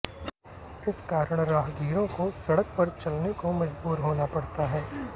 इस कारण राहगीरों को सड़क पर चलने को मजबूर होना पड़ता है